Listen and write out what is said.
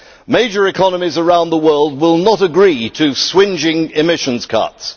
Major economies around the world will not agree to swingeing emission cuts.